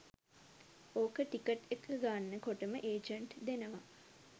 ඕක ටිකට් එක ගන්න කොටම ඒජන්ට් දෙනවා